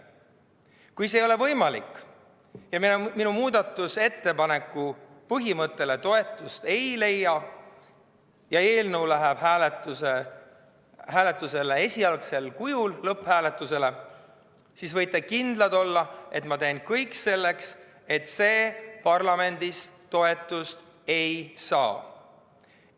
Kui see ei ole võimalik ja minu muudatusettepaneku põhimõte toetust ei leia ja eelnõu läheb lõpphääletusele esialgsel kujul, siis võite kindlad olla, et ma teen kõik selleks, et see parlamendis toetust ei saaks.